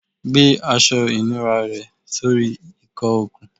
Gbe aṣọ ìnura rẹ sori ìkọ okun